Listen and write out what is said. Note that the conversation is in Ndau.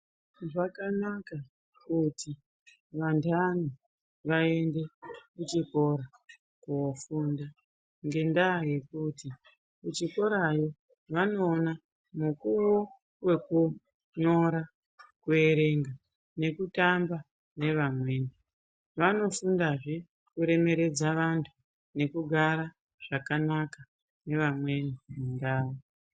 Zvakanaka kuti vanhani vaende kuchikora kofunda ngendaa yekuti kuchikorayo vanoona mukuwo wekunyora, kuerenga nekutamba nevamweni vanofundazve kuremeredza vantu nekugara zvakanaka nevamweni mundau.